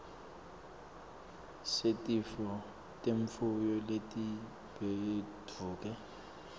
setifo temfuyo letibhedvuke